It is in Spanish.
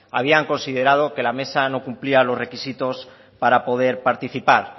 habían considerado que la mesa no cumplía los requisitos para poder participar